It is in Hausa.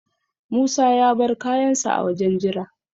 Musa ya bar kayansa a wajen jira.